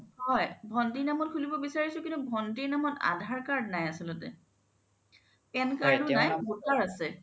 হয় ভন্তিৰ নামত খুলিব বিচাৰিচো কিন্তু ভন্তিৰ নামত aadhar নাই আচলতে PAN card ও নাই voter আছে